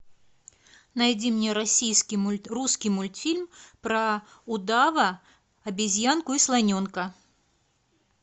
найди мне российский мульт русский мультфильм про удава обезьянку и слоненка